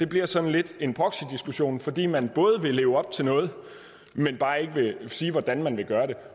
bliver sådan lidt en proxydiskussion fordi man vil leve op til noget men bare ikke vil sige hvordan man vil gøre det